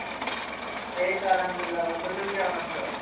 এই তো আলহামদুলিল্লাহ বন্ধু, তুমি কেমন আছো?